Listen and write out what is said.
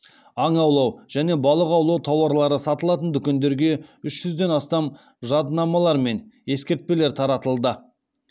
аң аулау және балық аулау тауарлары сатылатын дүкендерге үш жүзден астам жадынамалар мен ескертпелер таратылды